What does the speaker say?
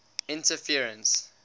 interference